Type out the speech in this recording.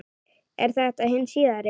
Er þetta hin síðari